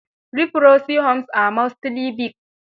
Leprosy homes are mostly big.